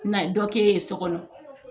Na ye dɔ kɛ ye so kɔnɔ